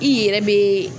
I yɛrɛ be